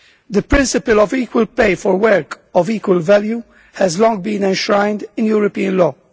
The principle of equal pay for work of equal value has long been enshrined in European law.